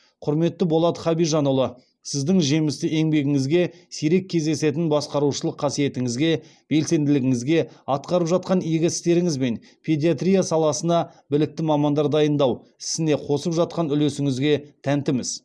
құрметті болат хабижанұлы сіздің жемісті еңбегіңізге сирек кездесетін басқарушылық қасиетіңізге белсенділігіңізге атқарып жатқан игі істеріңізбен педиатрия саласына білікті мамандар дайындау ісіне қосып жатқан үлесіңізге тәнтіміз